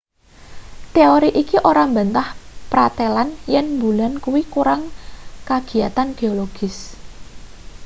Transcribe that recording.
teori iki ora mbantah pratelan yen mbulan kuwi kurang kagiyatan geologis